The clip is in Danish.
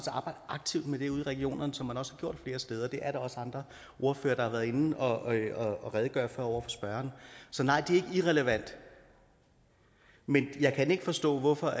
arbejde aktivt med det ude i regionerne som man også har gjort flere steder det er der også andre ordførere der har været inde og redegøre for over for spørgeren så nej det er ikke irrelevant men jeg kan ikke forstå hvorfor